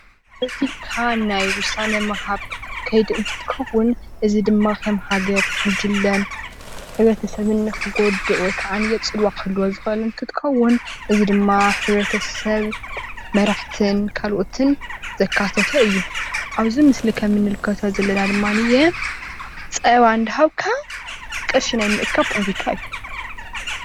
እዚ ብሓባር ናይ ዉሳነ ምሃብ ከይዲ እንትኸዉን እዚ ድማ ከም ሃገር ጉጅለን ሕብረተሰብን ክጎድእ ወይ ካዓንየ ፅልዋ ከህልዎ ዝክእል እንትኸዉን እዚ ድማ ሕብረተሰብ መራሕትን ካልኦትን ዘካተተ እዩ። ኣብዚ ምስሊ ከም ንምልከቶ ዘለና ድማኒየ ፀባ እንደሃብካ ቅርሺ ናይ ምእካብ ፖለቲካ እዩ